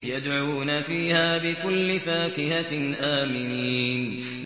يَدْعُونَ فِيهَا بِكُلِّ فَاكِهَةٍ آمِنِينَ